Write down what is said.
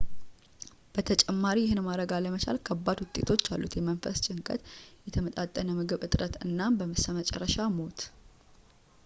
በተጨማሪ ይህንን ማድረግ አለመቻል ከባድ ውጤቶች አሉት የመንፈስ ጭንቀት የተመጣጠነ ምግብ እጥረት እናም በስተመጨረሻ ሞት